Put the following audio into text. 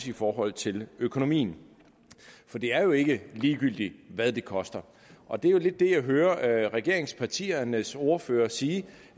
i forhold til økonomien for det er jo ikke ligegyldigt hvad det koster og det er lidt det jeg hører regeringspartiernes ordførere sige